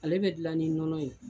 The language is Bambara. Ale bɛ dilan ni nɔnɔ ye.